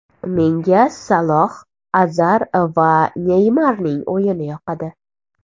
Menga Saloh, Azar va Neymarning o‘yini yoqadi.